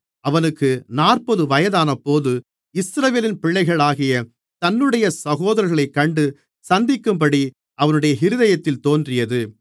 அவனுக்கு நாற்பது வயதானபோது இஸ்ரவேலின் பிள்ளைகளாகிய தன்னுடைய சகோதரர்களைக் கண்டு சந்திக்கும்படி அவனுடைய இருதயத்தில் தோன்றியது